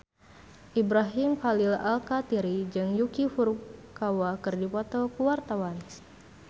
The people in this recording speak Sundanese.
Ibrahim Khalil Alkatiri jeung Yuki Furukawa keur dipoto ku wartawan